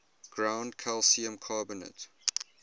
ground calcium carbonate